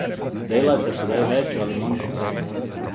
Delate sedaj več ali manj kot prej?